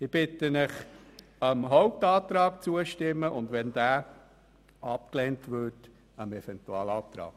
Ich bitte Sie, unserem Hauptantrag zuzustimmen und, sollte dieser abgelehnt werden, dem Eventualantrag.